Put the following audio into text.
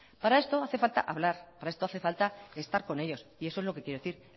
para esto hace falta hablar para esto hace falta estar con ellos y eso es lo que quiero decir